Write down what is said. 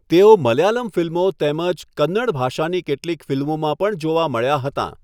તેઓ મલયાલમ ફિલ્મો તેમજ કન્નડ ભાષાની કેટલીક ફિલ્મોમાં પણ જોવા મળ્યાં હતાં.